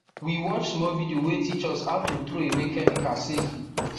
we watch small video wey teach us how to throw away chemical safely